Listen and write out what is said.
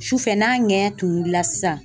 Sufɛ n'a ŋɛɲɛ tunuli la sisan